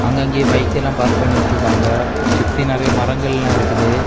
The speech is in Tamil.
அங்கங்கே பைக்கெல்லா பார்க் பண்ணி விட்ருக்காங்க சுத்தி நிறைய மரங்கள் எல்லா இருக்குது.